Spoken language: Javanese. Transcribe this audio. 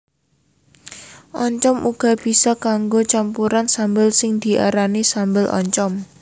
Oncom uga bisa kanggo campuran sambel sing diarani sambel oncom